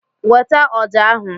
Weta ọja ahu!